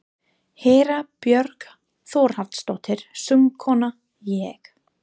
Hera Björk Þórhallsdóttir, söngkona: Ég?